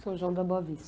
São João da Boa Vista.